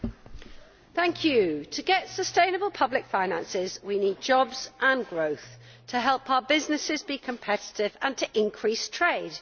Mr President, to get sustainable public finances we need jobs and growth to help our businesses be competitive and to increase trade.